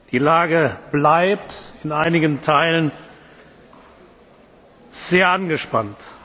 Die Lage bleibt in einigen Teilen sehr angespannt.